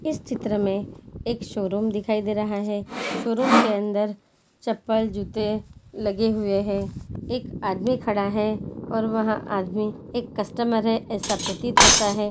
इस चित्र मे एक शोरूम दिखाई दे रहा है। शोरूम के अंदर चप्पल जूते लगे हुए हैं। एक आदमी खड़ा है। और वहाँ आदमी एक कस्टमर है ऐसा प्रतीत होता है।